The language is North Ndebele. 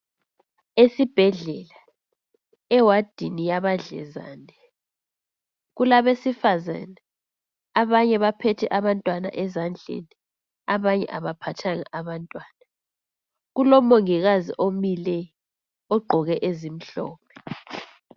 Esibhedlela, ewadini yabadlezane. Kulabesifazane. Abanye baphethe abantwana ezandleni. Abanye abaphathanga abantwana. Kulomongikazi omileyo, ogqoke ezimhlophe.